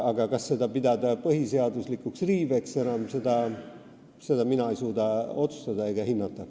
Kas seda aga pidada põhiseaduslikuks riiveks, seda mina ei suuda enam otsustada ega hinnata.